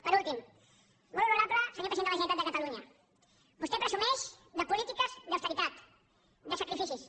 per últim molt honorable senyor president de la generalitat de catalunya vostè presumeix de polítiques d’austeritat de sacrificis